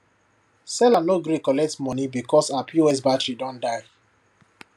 seller no gree collect money because her pos battery don die